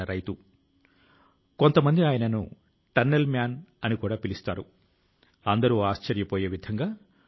భరత మాత సేవ లో నిమగ్నం అయిన అనేక జీవనాలు ప్రతి ఆకాశం లోని ఈ ఎత్తుల ను రోజూ గర్వం గా తాకుతున్నాయి